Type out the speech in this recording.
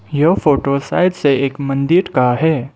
यह photo side से एक मंदिर का है।